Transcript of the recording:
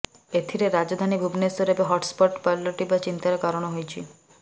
ଏଥିରା ରାଜଧାନୀ ଭୁବନେଶ୍ୱର ଏବେ hot spot ପାଲଟିବା ଚିନ୍ତାର କାରଣ ହୋଇଛି